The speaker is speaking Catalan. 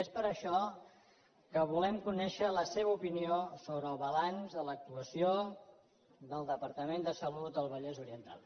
és per això que volem conèixer la seva opinió sobre el balanç de l’actuació del departament de salut al vallès oriental